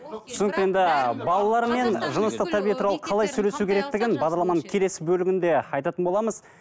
түсінікті енді балалармен жыныстық тәрбие туралы қалай сөйлесу керектігін бағдарламаның келесі бөлігінде айтатын боламыз